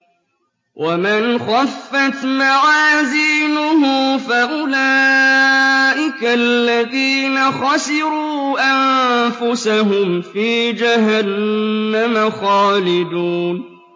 وَمَنْ خَفَّتْ مَوَازِينُهُ فَأُولَٰئِكَ الَّذِينَ خَسِرُوا أَنفُسَهُمْ فِي جَهَنَّمَ خَالِدُونَ